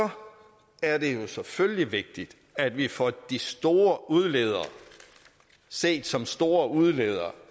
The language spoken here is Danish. er det jo selvfølgelig vigtigt at vi får de store udledere set som store udledere